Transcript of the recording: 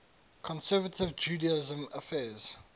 conservative judaism affirms